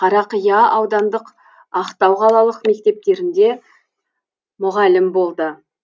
қарақия аудандық ақтау қалалық мектептерінде мұғалім болды